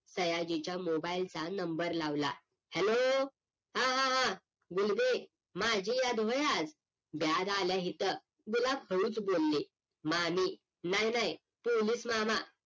सयाजीच्या MOBILE चा number लावला hello हा हा हा बोलगे माझी याद व्हय आज लयं झाल हिच गुलाब हळूच बोल्ली मामी नाही नाही पोलिस मामा